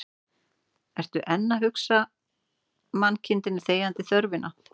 Ertu enn að hugsa mannkindinni þegjandi þörfina